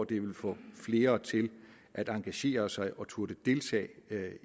det ville få flere til at engagere sig og turde deltage